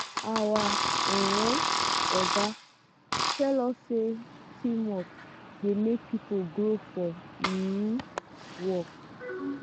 our um oga tell us sey teamwork dey make pipo grow for um work.